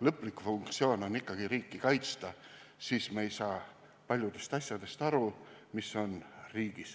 lõplik funktsioon on ikkagi riiki kaitsta, siis ei saa me paljudest asjadest aru, mis on riigis.